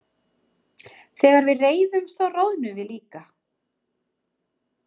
Þegar við reiðumst þá roðnum við líka.